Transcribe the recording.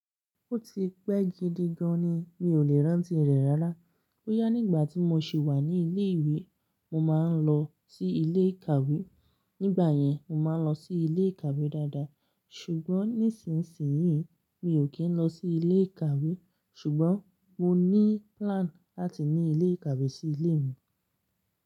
Ó ti pẹ́ gidi gan ni mi ò lè rántí rẹ̀ rárá. Boyá nígbà tí mo sì wà ní ilé ìwé, mo máa ń lọ sí ilé ìkàwé. Nígbà yẹn, mo máa ń lọ sí ilé ìkàwé dáadáa. Ṣùgbọ́n nísinsìnyí, mi ò kì í lọ sí ilé ìkàwé. Ṣùgbọ́n mo ní plan láti ní ilé ìkàwé sí ilé mi.